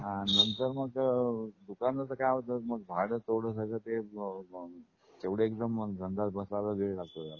हां, नंतर मग अ दुकानाच काय होत मग भाड तेवढ सगळ तेवढ मग गंगाळ बसायला वेळ लागतो त्याला